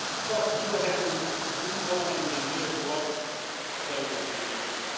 Csak így lehetünk mi valamennyien méltóak az európai névre.